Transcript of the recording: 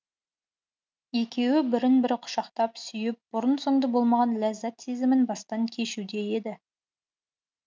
екеуі бірін бірі құшақтап сүйіп бұрын соңды болмаған ләззәт сезімін бастан кешуде еді